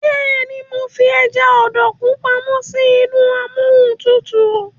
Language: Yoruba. béèni mọ fí eja Obokun pàmò sí inú Amóhuntutù.